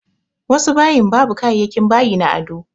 Wasu bayin babu kayayakin bayi na ado.